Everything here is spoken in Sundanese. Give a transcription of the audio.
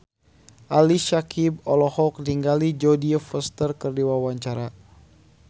Ali Syakieb olohok ningali Jodie Foster keur diwawancara